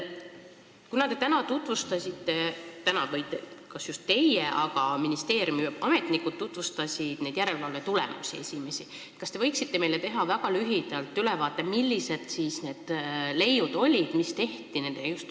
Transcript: Kuna te täna tutvustasite – kas just teie, aga ministeeriumi ametnikud tutvustasid – järelevalve esimesi tulemusi, siis kas te võiksite teha meile väga lühidalt ülevaate, millised need leiud olid?